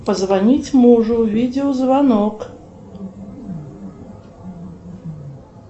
позвонить мужу видеозвонок